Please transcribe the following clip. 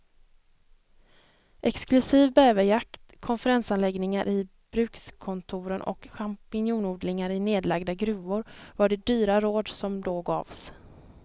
Exklusiv bäverjakt, konferensanläggningar i brukskontoren och champinjonodlingar i nedlagda gruvor var de dyra råd som då gavs.